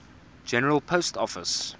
general post office